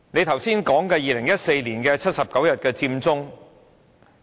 他剛才提及2014年的79日佔中。